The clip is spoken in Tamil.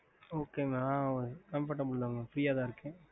mam